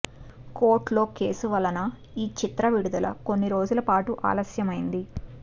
కోర్టులో కేసు వలన ఈ చిత్ర విడుదల కొన్ని రోజుల పాటు ఆలస్యమైంది